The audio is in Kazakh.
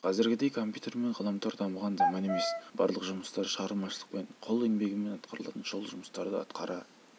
қазіргідей компьютер мен ғаламтор дамыған заман емес барлық жұмыстар шығармашылықпен қол еңбегімен атқарылатын сол жұмыстарды атқара